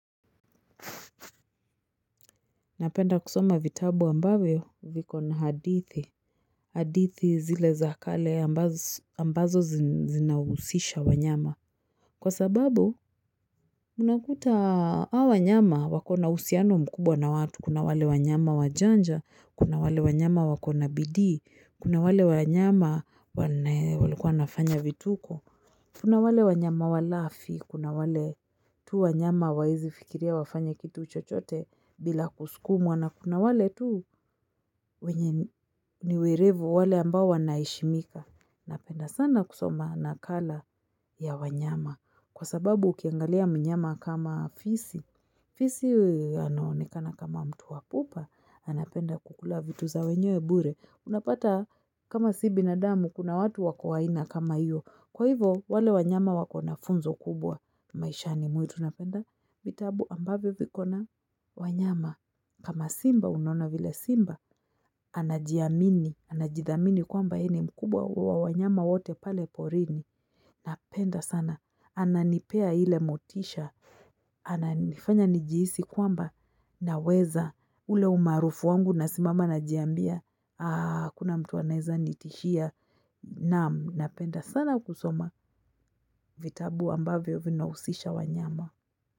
Napenda kusoma vitabu ambavyo viko na hadithi, hadithi zile za kale ambazo zinausisha wanyama. Kwa sababu, munakuta hao wanyama wako na husiano mkubwa na watu, kuna wale wanyama wajanja, kuna wale wanyama wako na bidii, kuna wale wanyama walikua wanafanya vituko, Kuna wale wanyama walafi, kuna wale tu wanyama hawawezi fikiria wafanya kitu chochote bila kusukumwa na kuna wale tu wenye ni werevu wale ambao wanaheshimika. Napenda sana kusoma nakala ya wanyama kwa sababu ukiangalia mnyama kama fisi. Fisi anaonikana kama mtu wa pupa, anapenda kukula vitu za wenyewe bure. Unapata kama si binadamu, kuna watu wako wa aina kama hiyo. Kwa hivo, wale wanyama wako na funzo kubwa, maisha ni mwitu napenda, vitabu ambavyo viko na wanyama, kama simba unaona vile simba, anajiamini, anajithamini kwamba yeye ni mkubwa wa wanyama wote pale porini, napenda sana, ananipea ile motisha, ananifanya njiihisi kwamba, naweza ule umaarufu wangu nasimama najiambia, hakuna mtu aneza nitishia, naam, napenda sana kusoma. Vitabu ambavyo vinahusisha wanyama.